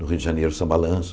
No Rio de Janeiro, São Balanço.